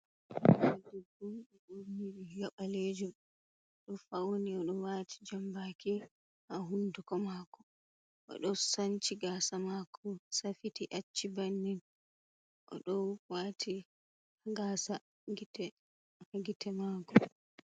Debbo ɗo ɓurni riga ɓalejum oɗo fauni oɗo waati jambaki ha hunduko mako, oɗo sanci gasa mako safiti acci bannin oɗo wati gasa gite ha gite mako.